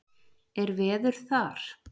Er veður þar?